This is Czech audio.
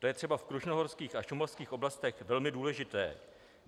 To je třeba v krušnohorských a šumavských oblastech velmi důležité.